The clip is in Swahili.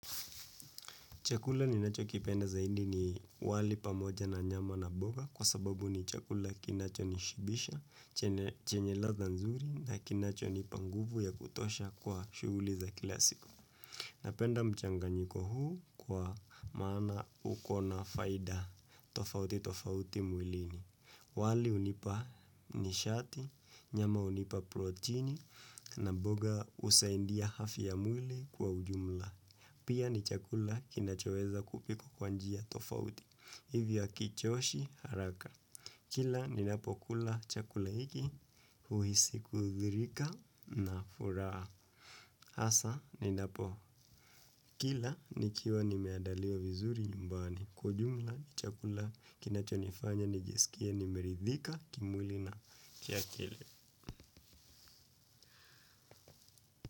Chakula ninachokipenda zaidi ni wali pamoja na nyama na mboga kwa sababu ni chakula kinachonishibisha, chenye latha nzuri na kinachonipa nguvu ya kutosha kwa shughuli za kila siku. Napenda mchanganyiko huu kwa maana uko na faida tofauti tofauti mwilini. Wali hunipa nishati, nyama hunipa protini na mboga husaidia afya ya mwili kwa ujumla. Pia ni chakula kinachoweza kupikwa kwa njia tofauti, hivyo hakichoshi haraka. Kila ninapo kula chakula hiki, uhisi kudhirika na furaha. Hasaa ninapokila nikiwa nimeandaliwa vizuri nyumbani. Kwa ujumla ni chakula kinachonifanya nijisikie nimeridhika kimwili na kiakili.